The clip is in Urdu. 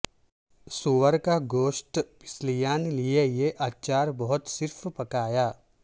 سور کا گوشت پسلیاں لئے یہ اچار بہت صرف پکایا